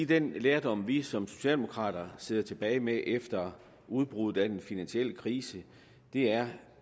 den lærdom vi som socialdemokrater sidder tilbage med efter udbruddet af den finansielle krise er